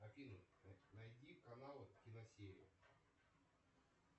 афина найди канал кино серия